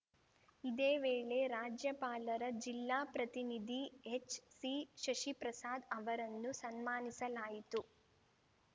ಇದೇ ವೇಳೆ ರಾಜ್ಯಪಾಲರ ಜಿಲ್ಲಾ ಪ್ರತಿನಿಧಿ ಎಚ್‌ಸಿಶಶಿಪ್ರಸಾದ್‌ ಅವರನ್ನು ಸನ್ಮಾನಿಸಲಾಯಿತು